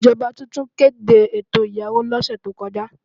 Ìjọba tuntun kéde ètò ìyàwó lọ́sẹ̀ tí ó kọjá.